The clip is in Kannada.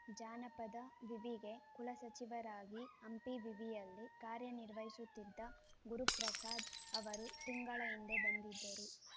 ಜಾನಪದ ವಿವಿಗೆ ಕುಲಸಚಿವರಾಗಿ ಹಂಪಿ ವಿವಿಯಲ್ಲಿ ಕಾರ್ಯನಿರ್ವಹಿಸುತ್ತಿದ್ದ ಗುರುಪ್ರಸಾದ್‌ ಅವರು ತಿಂಗಳ ಹಿಂದೆ ಬಂದಿದ್ದರು